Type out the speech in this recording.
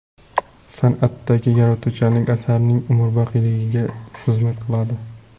San’atdagi yaratuvchanlik asarning umrboqiyligiga xizmat qiladi.